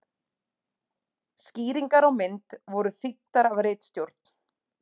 skýringar á mynd voru þýddar af ritstjórn